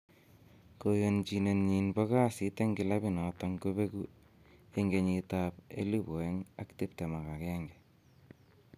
Koyonchinenyin bo kasit en kilabit noton kobegu en kenyitab 2021.